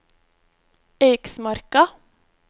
Eiksmarka